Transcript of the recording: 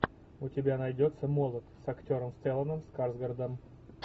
у тебя найдется молот с актером стелланом скарсгардом